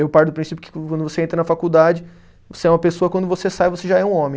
Eu paro do princípio que quando você entra na faculdade você é uma pessoa, quando você sai, você já é um homem.